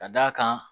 Ka d'a kan